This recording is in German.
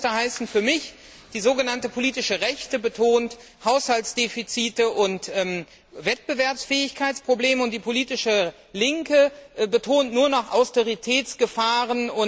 Alte Muster heißt für mich, die sogenannte politische Rechte betont Haushaltsdefizite und Wettbewerbsfähigkeitsprobleme, und die politische Linke betont nur noch Austeritätsgefahren.